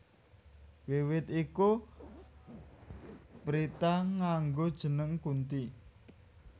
Wiwit iku Pritha nganggo jeneng Kunthi